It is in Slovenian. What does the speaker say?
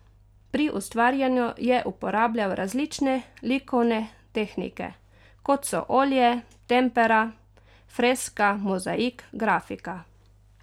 Pri ustvarjanju je uporabljal različne likovne tehnike, kot so olje, tempera, freska, mozaik, grafika.